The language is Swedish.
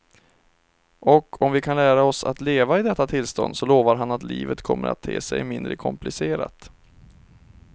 Och om vi kan lära oss att leva i detta tillstånd så lovar han att livet kommer att te sig mindre komplicerat.